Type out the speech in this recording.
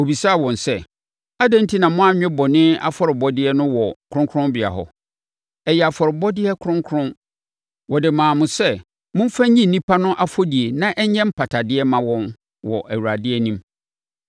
“Ɔbisaa wɔn sɛ, ‘Adɛn enti na moanwe bɔne afɔrebɔdeɛ no wɔ kronkronbea hɔ? Ɛyɛ afɔrebɔdeɛ kronkron! Wɔde maa mo sɛ momfa nyi nnipa no afɔdie na ɛnyɛ mpatadeɛ mma wɔn wɔ Awurade anim.